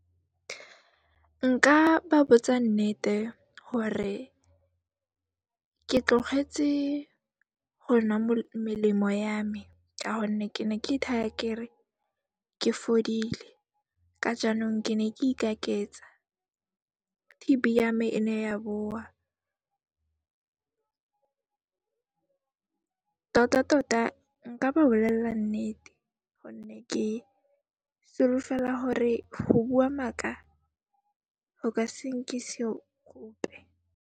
Nka ba botsa nnete gore ke tlogetse go nwa melemo ya me ka gonne ke ne ke ithaya kere ke fodile, ka jaanong ke ne ke ikaketsa. T_B ya me e ne ya boa tota-tota nka ba bolella nnete gonne ke solofela gore go bua maaka, go ka se nkise gope.